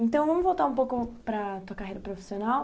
Então vamos voltar um pouco para tua carreira profissional.